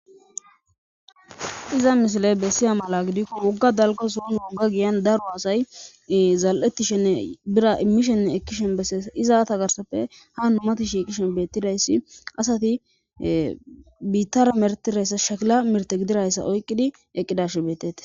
iza mishile bessiya mala gidikko wogga dalga suun wogga giyan daru asay zaal7ettishenne bira immishenne ekkishen besseessa izata garsappe ha numatishikishen bettidayssi asati biittara mertirayssa shakila mirte gidirayssa oyqqidi eqqidashe betete